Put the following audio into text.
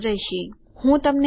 એરરો શોધવા માટે આ સારો માર્ગ છે